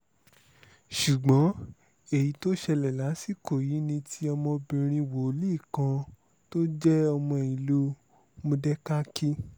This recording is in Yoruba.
ṣugbọn eyi to ṣẹlẹ lasiko yi ni ti ọmọbinrin woli kan to jẹ ọmọ iluu modẹkaki